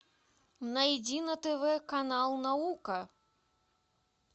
найди на тв канал наука